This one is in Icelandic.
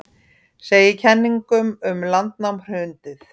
Segir kenningum um landnám hrundið